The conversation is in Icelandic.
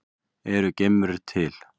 Eru geimverur til?